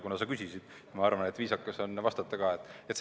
Kuna sa küsisid, siis ma arvan, et viisakas on vastata.